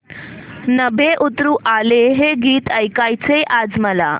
नभं उतरू आलं हे गीत ऐकायचंय आज मला